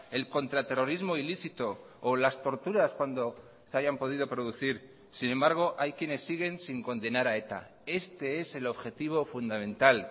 el contraterrorismo ilícito o las torturas cuando se hayan podido producir sin embargo hay quienes siguen sin condenar a eta este es el objetivo fundamental